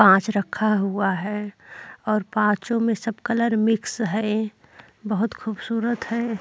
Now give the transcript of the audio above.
पांच रखा हुआ हैं और पाँचों में सब कलर मिक्स है। बहोत खूबसूरत है।